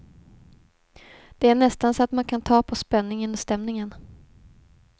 Det är nästan så att man kan ta på spänningen och stämningen.